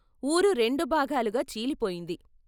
వూరు రెండు భాగాలుగా చీలిపోయింది.